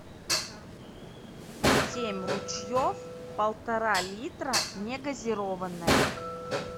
семь ручьев полтора литра не газированная